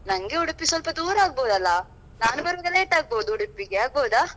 ನಂಗೆ Udupi ಸ್ವಲ್ಪ ದೂರ ಆಗ್ಬೋದಲ್ಲ ನಾನು ಬರುವಾಗ late ಆಗ್ಬೋದು Udupi ಗೆ ಆಗ್ಬೋದಾ.